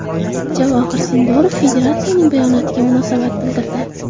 Javohir Sindorov federatsiyasining bayonotiga munosabat bildirdi.